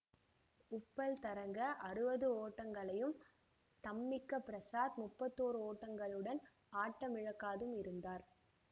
உப்புல் தரங்க அறுபது ஓட்டங்களையும் தம்மிக்க பிரசாத் முப்பத்தோறு ஓட்டங்களுடன் ஆட்டமிழக்காதும் இருந்தார்